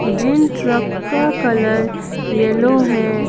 जिन truck का colour yellow है।